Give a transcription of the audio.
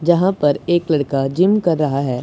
जहां पर एक लड़का जिम कर रहा है।